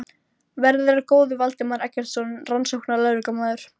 Verði þér að góðu, Valdimar Eggertsson rannsóknarlögreglumaður.